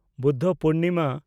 Buddha Purnima